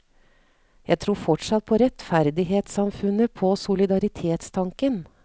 Jeg tror fortsatt på rettferdighetssamfunnet, på solidaritetstanken.